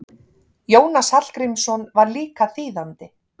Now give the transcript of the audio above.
Jónas Hallgrímsson var líka þýðandi.